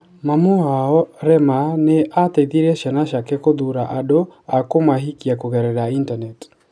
Mami wao, Rema, nĩ aateithirie ciana ciake gũthuura andũ a kũmahikia kũgerera initaneti.